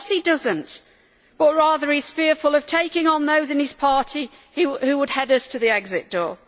Of course he does not, but rather he is fearful of taking on those in his party who would head us to the exit door.